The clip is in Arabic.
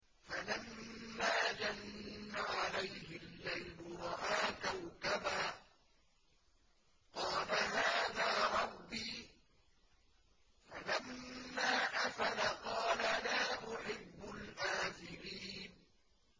فَلَمَّا جَنَّ عَلَيْهِ اللَّيْلُ رَأَىٰ كَوْكَبًا ۖ قَالَ هَٰذَا رَبِّي ۖ فَلَمَّا أَفَلَ قَالَ لَا أُحِبُّ الْآفِلِينَ